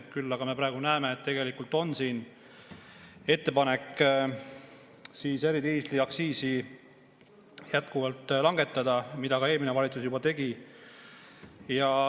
Küll aga me praegu näeme, et tegelikult on siin ettepanek eridiisliaktsiisi jätkuvalt langetada, mida eelmine valitsus juba ka tegi.